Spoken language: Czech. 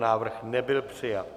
Návrh nebyl přijat.